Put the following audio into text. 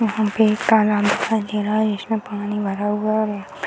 यहां पे एक तालाब दिखाई दे रहा है जिसमें पानी भरा हुआ है।